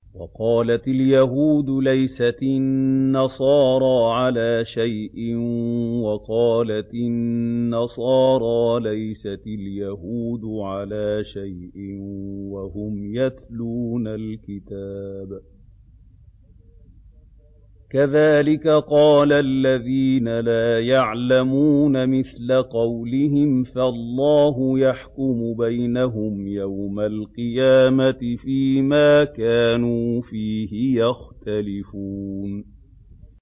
وَقَالَتِ الْيَهُودُ لَيْسَتِ النَّصَارَىٰ عَلَىٰ شَيْءٍ وَقَالَتِ النَّصَارَىٰ لَيْسَتِ الْيَهُودُ عَلَىٰ شَيْءٍ وَهُمْ يَتْلُونَ الْكِتَابَ ۗ كَذَٰلِكَ قَالَ الَّذِينَ لَا يَعْلَمُونَ مِثْلَ قَوْلِهِمْ ۚ فَاللَّهُ يَحْكُمُ بَيْنَهُمْ يَوْمَ الْقِيَامَةِ فِيمَا كَانُوا فِيهِ يَخْتَلِفُونَ